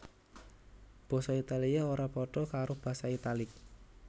Basa Italia ora padha karo basa Italik